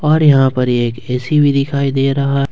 और यहां पे एक ऐ_सी भी दिखाई दे रहा है।